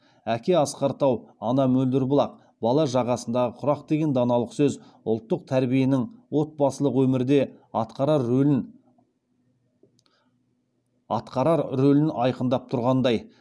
әке асқар тау ана мөлдір бұлақ бала жағасындағы құрақ деген даналық сөз ұлттық тәрбиенің отбасылық өмірде атқарар рөлін айқындап тұрғандай